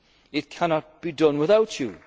partners in this. It cannot